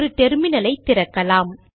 ஒரு டெர்மினல் ஐ திறக்கலாம்